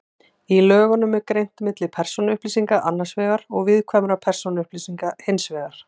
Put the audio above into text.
Í lögunum er greint milli persónuupplýsinga annars vegar og viðkvæmra persónuupplýsinga hins vegar.